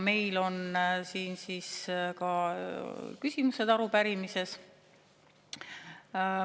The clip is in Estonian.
Meil on siin arupärimises siis küsimused.